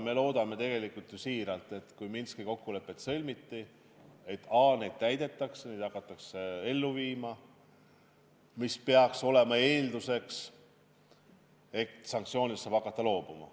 Me loodame tegelikult ju siiralt, et kui Minski kokkulepped on sõlmitud, siis neid ka täidetakse, neid hakatakse ellu viima, mis peaks olema eeldus, et sanktsioonidest saab hakata loobuma.